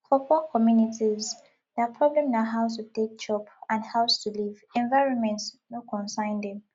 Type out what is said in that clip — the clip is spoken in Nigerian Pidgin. for poor communities their problem na how to take chop and house to live environment no consign them